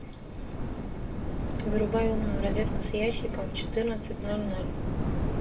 вырубай умную розетку с ящиком в четырнадцать ноль ноль